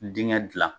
Dingɛ dilan